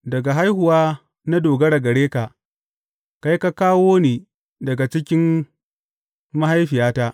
Daga haihuwa na dogara gare ka; kai ka kawo ni daga cikin mahaifiyata.